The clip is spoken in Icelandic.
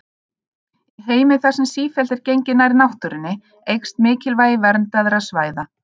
Í heimi þar sem sífellt er gengið nær náttúrunni eykst mikilvægi verndaðra svæða.